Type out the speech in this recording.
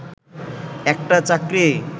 একটা চাকরি